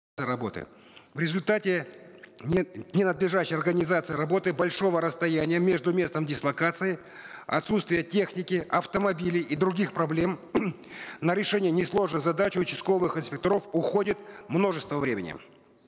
работы в результате нет ни надлежащей организации работы большого расстояния между местом дислокации отсутствие техники автомобилей и других проблем на решение несложных задач участковых инспекторов уходит множество времени